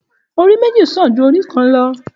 Òrí mẹji sàn jú òrí lọ